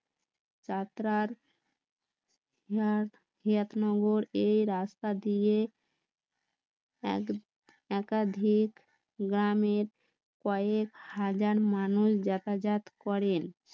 যাত্রার হিয়াক নগর এই রাস্তা দিয়ে এক~একাধিক গ্রামের কয়েক হাজার মানুষ জাতাজাত করেন